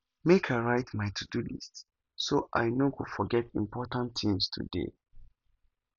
make i write my todo list so i no go forget important things today